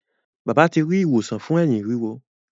Bàbá ti ri ìwòsàn fún Ẹ̀hín ríro.